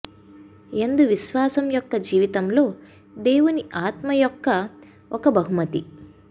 యందు విశ్వాసం యొక్క జీవితంలో దేవుని ఆత్మ యొక్క ఒక బహుమతి